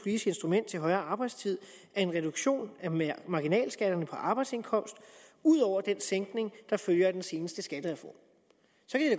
instrument til højere arbejdstid er en reduktion af marginalskatterne på arbejdsindkomst udover den sænkning der følger af den seneste skattereform